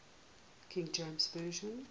king james version